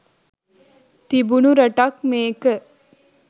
තිබුණු රටක් මේක.